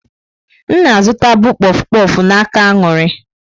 M na-azụta bụ kpof kpof n'aka Aṅụrị.